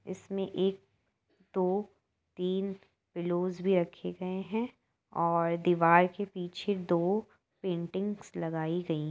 इसमें एक दो तीन पिल्लोस भी रखे गए हैं और दीवार के पीछे दो पेंटिंगस लगाई गई हैं।